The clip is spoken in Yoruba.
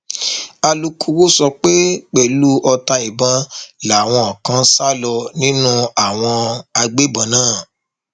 alūkkóró sọ pé pẹlú ọta ìbọn làwọn kan sá lọ nínú àwọn agbébọn náà